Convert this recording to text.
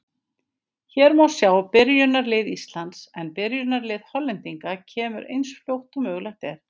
Hér má sjá byrjunarlið Íslands en byrjunarlið Hollendinga kemur eins fljótt og mögulegt er.